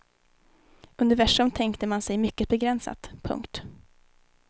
Universum tänkte man sig mycket begränsat. punkt